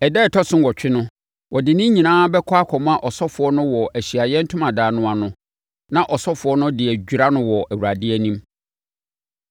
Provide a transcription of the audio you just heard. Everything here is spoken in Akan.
“Ɛda a ɛtɔ so nnwɔtwe no, ɔde ne nyinaa bɛkɔ akɔma ɔsɔfoɔ no wɔ Ahyiaeɛ Ntomadan no ano na ɔsɔfoɔ no de adwira no wɔ Awurade anim.